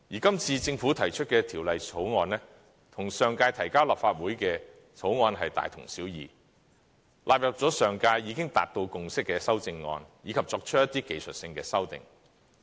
今次政府提出的《條例草案》，與上屆提交立法會的2014年《條例草案》大同小異，納入了上屆已經達到共識的修正案，以及作出一些技術性的修訂。